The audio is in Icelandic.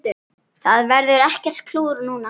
Það verður ekkert klúður núna.